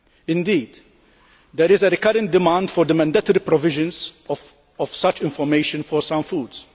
Indeed, there is a recurrent demand for the mandatory provisions of such information for some foods.